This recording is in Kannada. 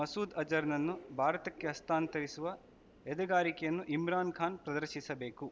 ಮಸೂದ್‌ ಅಜರ್‌ನನ್ನು ಭಾರತಕ್ಕೆ ಹಸ್ತಾನ್ ತಗಿಸುವ ಎದೆಗಾರಿಕೆಯನ್ನು ಇಮ್ರಾನ್‌ ಖಾನ್‌ ಪ್ರದರ್ಶಿಸಬೇಕು